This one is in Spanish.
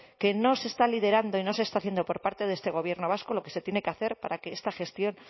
que no se está liderando y no se está haciendo por parte de este gobierno vasco lo que se tiene que hacer para que esta gestión